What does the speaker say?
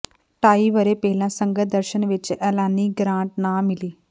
ਢਾਈ ਵਰ੍ਹੇ ਪਹਿਲਾਂ ਸੰਗਤ ਦਰਸ਼ਨ ਵਿੱਚ ਐਲਾਨੀ ਗਰਾਂਟ ਨਾ ਮਿਲੀ